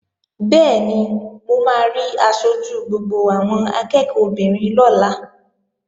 Bẹ́ẹ̀ni, mo máa rí aṣojú gbogbo àwọn akẹ́ẹ̀kọ́ obìnrin lọ́la